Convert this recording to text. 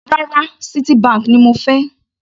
Rárá, Citibank ni mo fẹ́.